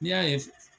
N'i y'a ye